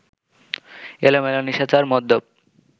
এলোমেলো, নিশাচর, মদ্যপ